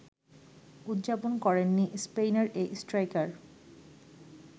উদযাপন করেননি স্পেনের এই স্ট্রাইকার